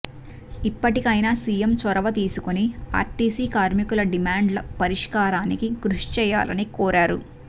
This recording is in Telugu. ఇప్పటికైనా సీఎం చొరవ తీసుకుని ఆర్టీసీ కార్మికుల డిమాం డ్ల పరిష్కారానికి కృషి చేయాలని కోరారు